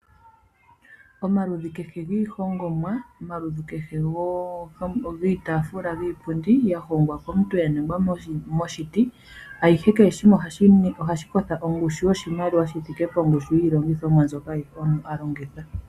Omaludhi kehe giihongomwa ,omaludhi kehe giitafula ,giiipundi ya hongwa komuntu ya ningwa moshiti ayihe kehe shimwe ohashi kotha ongushu yoshimaliwa shi thike pongushu yiilongithomwa mbyoka ayihe ya longithwa.